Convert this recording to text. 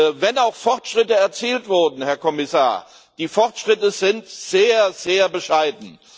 Auch wenn Fortschritte erzielt wurden, Herr Kommissar, die Fortschritte sind sehr, sehr bescheiden.